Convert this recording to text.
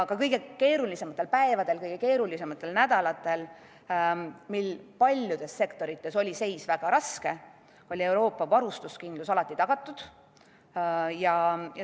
Ka kõige keerulisematel päevadel, kõige keerulisematel nädalatel, kui paljudes sektorites oli seis väga raske, oli Euroopa varustuskindlus alati tagatud.